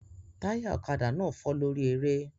Táyà ọ̀kadà náà fọ́ lórí eré